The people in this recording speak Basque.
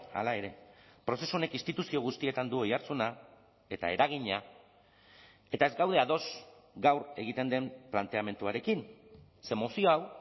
hala ere prozesu honek instituzio guztietan du oihartzuna eta eragina eta ez gaude ados gaur egiten den planteamenduarekin ze mozio hau